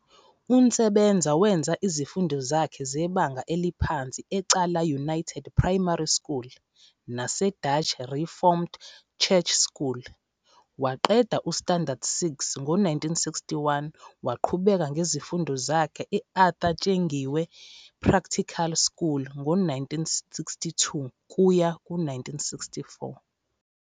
UNtsebeza wenza izifundo zakhe zebanga eliphansi eCala United Primary School naseDutch Reformed Church School. Waqeda ustandard six ngo 1961 waqhubeka ngemfundo zakhe eArthur Tsengiwe Practical School ngo 1962 -1964.